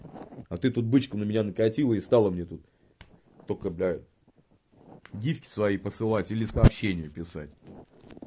а ты тут бычка на меня накатила и стала мне тут только блять гифки свои посылать или сообщение писать